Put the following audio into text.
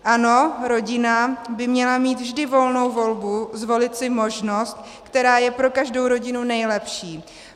Ano, rodina by měla mít vždy volnou volbu, zvolit si možnost, která je pro každou rodinu nejlepší.